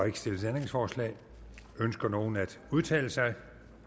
ikke stillet ændringsforslag ønsker nogen at udtale sig